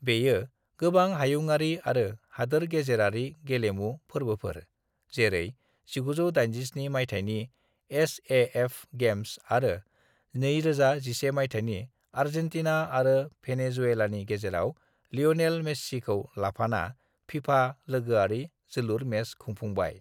बेयो गोबां हायुङारि आरो हादोर-गेजेरारि गेलेमु फोर्बोफोर जेरै 1987 मायथायनि एस.ए.एफ गेम्स आरो 2011 मायथायनि आर्जेंटीना आरो भेनेजुएलानि गेजेराव लियोनेल मेस्सीखौ लाफाना फीफा लोगोआरि जोलुर मेच खुंफुंबाय।